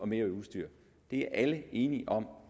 mere udstyr det er alle enige om